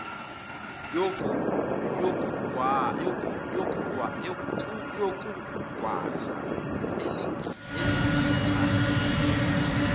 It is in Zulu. yokugwaza elingitta inn